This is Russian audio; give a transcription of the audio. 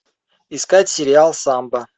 искать сериал самбо